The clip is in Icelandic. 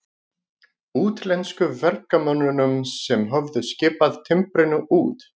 Útlensku verkamönnunum sem höfðu skipað timbrinu út.